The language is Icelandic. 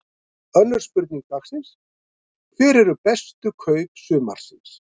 Önnur spurning dagsins: Hver eru bestu kaup sumarsins?